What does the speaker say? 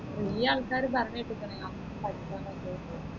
കുറെ ആൾകാർ പറഞ്ഞു കേട്ടിക്കിണ് നമ്മുക്ക് പഠിച്ച മതി ഏനു